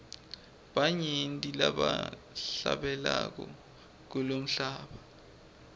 banyenti labahlabelako kulomhlaba